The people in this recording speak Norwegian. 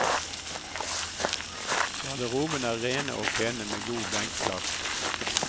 Garderobene er rene og pene med god benkplass.